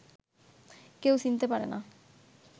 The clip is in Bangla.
কেউ চিনতে পারে না